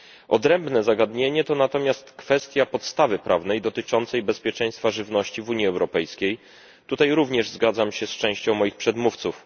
Odrębne zagadnienie to natomiast kwestia podstawy prawnej dotyczącej bezpieczeństwa żywności w Unii Europejskiej tutaj również zgadzam się z częścią moich przedmówców.